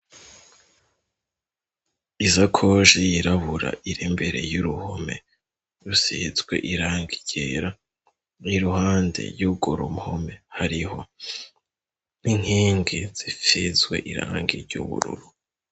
Izakoji yirabura irembere y'uruhome rusizwe irange ryera i ruhande y'ugurumpome hariho n'inkingi zifizwe irange iry'ubururu.